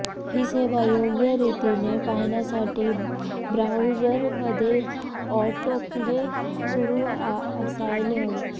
ही सेवा योग्य रीतीने पाहण्यासाठी ब्राऊजरमध्ये ऑटोप्ले सुरू असायला हवं